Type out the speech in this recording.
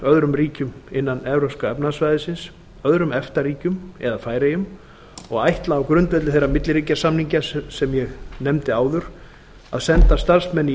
öðrum ríkjum innan evrópska efnahagssvæðisins öðrum efta ríkjum eða færeyjum og ætla á grundvelli þeirra milliríkjasamninga sem ég nefndi áður að senda starfsmenn í